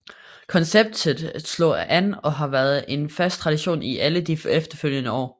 Konceptet slog an og har været en fast tradition i alle de efterfølgende år